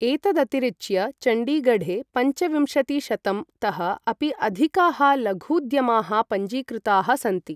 एतदतिरिच्य चण्डीगढे पञ्चविंशतिशतं तः अपि अधिकाः लघूद्यमाः पञ्जीकृताः सन्ति।